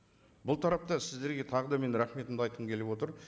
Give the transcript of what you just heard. бұл тарапта сіздерге тағы да мен рахметімді айтқым келіп отыр